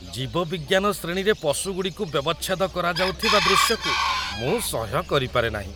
ଜୀବବିଜ୍ଞାନ ଶ୍ରେଣୀରେ ପଶୁଗୁଡ଼ିକୁ ବ୍ୟବଚ୍ଛେଦ କରାଯାଉଥିବା ଦୃଶ୍ୟକୁ ମୁଁ ସହ୍ୟ କରିପାରେ ନାହିଁ।